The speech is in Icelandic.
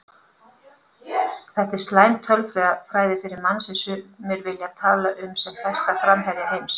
Þetta er slæm tölfræði fyrir mann sem sumir vilja tala um sem besta framherja heims.